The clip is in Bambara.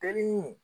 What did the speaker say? Teli